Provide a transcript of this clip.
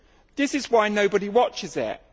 This is why nobody watches it.